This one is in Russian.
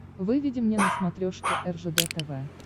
выведи мне на смотрешке ржд тв